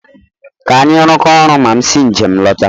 Ka anyị rụkọọ ọrụ ma m si njem lọta